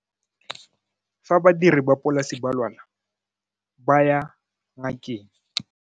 Fa badiri ba polase ba lwala ba ya ngakeng.